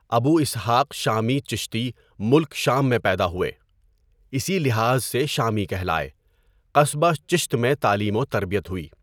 ابو اسحٰق شامی چِشتی ملک شام میں پیدا ہوئے۔ اسی لحاظ سے شامی کہلائے۔ قصبہ چِشت میں تعلیم و تربیت ہوئی۔